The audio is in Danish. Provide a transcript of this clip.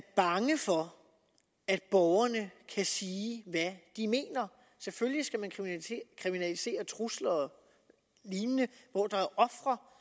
bange for at borgerne kan sige hvad de mener selvfølgelig skal man kriminalisere trusler og lignende hvor der er ofre